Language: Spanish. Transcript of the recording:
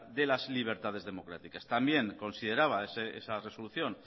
de las libertades democráticas también consideraba esa resolución